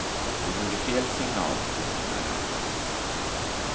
Det vore fel signal, betonar han.